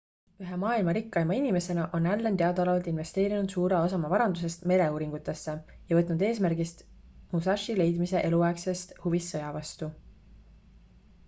ühe maailma rikkaima inimesena on allen teadaolevalt investeerinud suure osa oma varandusest mereuuringutesse ja võtnud eesmärgiks musashi leidmise eluaegsest huvist sõja vastu